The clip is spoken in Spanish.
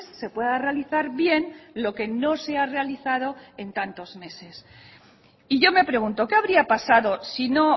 se pueda realizar bien lo que no se ha realizado en tantos meses y yo me pregunto qué habría pasado si no